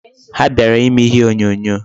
Ha bịara ime ihe onyonyo.